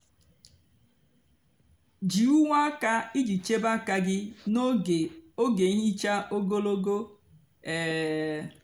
jí úwé ákà íjì chebe ákà gị n'ógè ógè nhicha ógologo. um